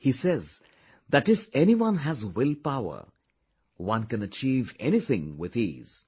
He says that if anyone has will power, one can achieve anything with ease